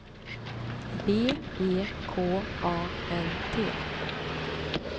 B E K A N T